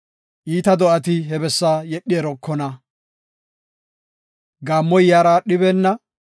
Iita do7ati he bessaa yedhi erokona; gaammoy yaara aadhibeenna.